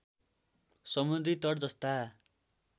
समुद्री तट जस्ता